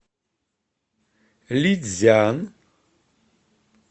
лицзян